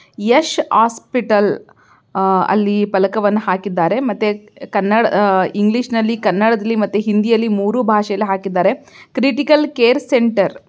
Yash hospital ಅಂತ ಫಲಕವನ್ನು ಹಾಕಿದ್ದಾರೆ ಮತ್ತೆ ಕನ್ನಡ ಇಂಗ್ಲಿಷ್ ಮತ್ತು ಹಿಂದಿ ಭಾಷೆಯಲ್ಲಿ ಹಾಕಿದ್ದಾರೆ ಕ್ರಿಟಿಕಲ್ ಕೇರ್ಸೆಂಟರ್ .